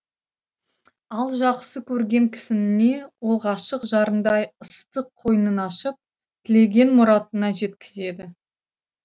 ал жақсы көрген кісініне ол ғашық жарындай ыстық қойнын ашып тілеген мұратына жеткізеді